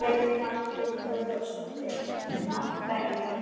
Elín Margrét Böðvarsdóttir: Af hverju?